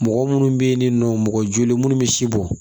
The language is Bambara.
Mɔgɔ munnu be yen ni nɔ mɔgɔ joli munnu bɛ si bɔ